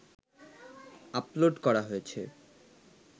upload করা হয়েছে